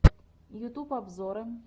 ютуб обзоры